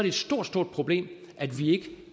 et stort stort problem at vi ikke